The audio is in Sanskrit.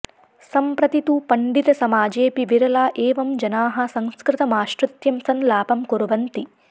सम्प्रति तु पण्डितसमाजेऽपि विरला एवं जनाः संस्कृतमाश्रित्यं संल्लापं कुर्वन्ति